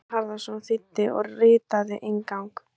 Gunnar Harðarson þýddi og ritaði inngang.